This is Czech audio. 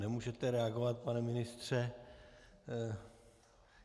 Nemůžete reagovat, pane ministře.